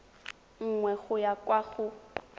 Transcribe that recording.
nngwe go ya kwa go